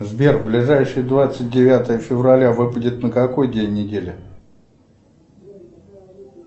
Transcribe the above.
сбер ближайшее двадцать девятое февраля выпадет на какой день недели